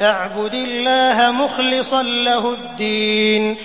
فَاعْبُدِ اللَّهَ مُخْلِصًا لَّهُ الدِّينَ